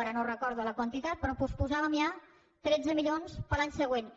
ara no recordo la quantitat però posposàvem ja tretze milions per a l’any següent